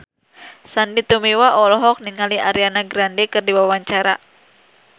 Sandy Tumiwa olohok ningali Ariana Grande keur diwawancara